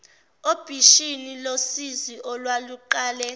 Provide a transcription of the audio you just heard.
obishini losizi olwaluqale